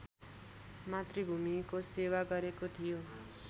मातृभूमिको सेवा गरेको थियो